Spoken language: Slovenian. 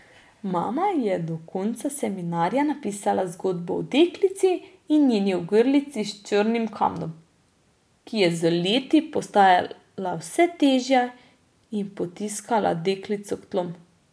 Mama je do konca seminarja napisala zgodbo o deklici in njeni ogrlici s črnim kamnom, ki je z leti postajala vse težja in potiskala deklico k tlom.